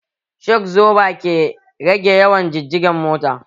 Sho absoba ke rage yawa jijigen mota